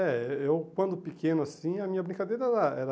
É, eh eu quando pequeno assim, a minha brincadeira era era...